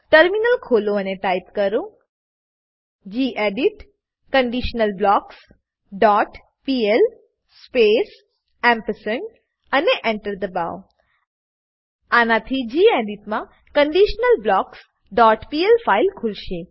terminal ખોલો અને type કરો gedit conditional blocks dot PL space ampersand અને Enter દબાવો આનાથી ગેડિટ માં conditionalblocksપીએલ ફાઈલ ખુલશે